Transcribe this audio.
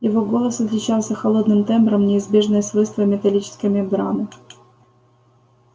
его голос отличался холодным тембром неизбежное свойство металлической мембраны